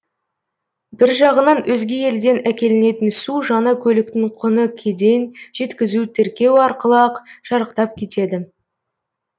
бір жағынан өзге елден әкелінетін су жаңа көліктің құны кеден жеткізу тіркеу арқылы ақ шарықтап кетеді